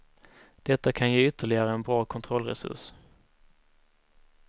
Detta kan ge ytterligare en bra kontrollresurs.